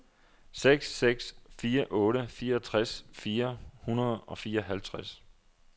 seks seks fire otte fireogtres fire hundrede og fireoghalvtreds